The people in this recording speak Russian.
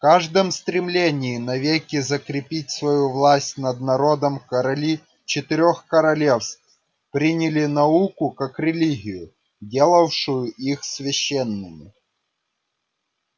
в каждом стремлении навеки закрепить свою власть над народом короли четырёх королевств приняли науку как религию делавшую их священными